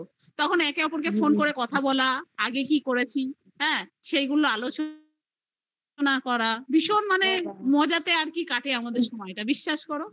তখন একে অপর কে ফোন করে কথা বলা আগে কি করেছি সেইগুলোnআলোচনা করা ভীষণ মানে মজা তে কাটে আমাদের সময় টা বিশ্বাস কর